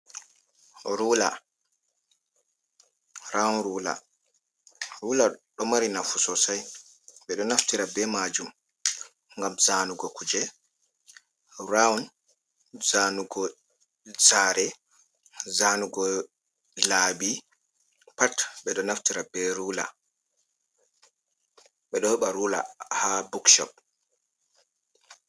Rawun rula, rula ɗo mari nafu sosai ɓe ɗo naftira be majum ngam zanugo kuje rawun, zanugo saare zanugo laabi pat, ɓe ɗo naftira be rula, ɓe ɗo heɓa rula ha bookshop.